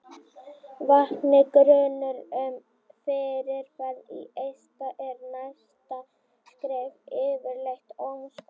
vakni grunur um fyrirferð í eista er næsta skref yfirleitt ómskoðun